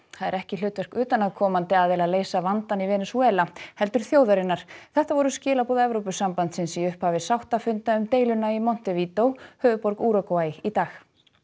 það er ekki hlutverk utanaðkomandi aðila að leysa vandann í Venesúela heldur þjóðarinnar þetta voru skilaboð Evrópusambandsins í upphafi sáttafunda um deiluna í Montevídeó höfuðborg Úrúgvæ í dag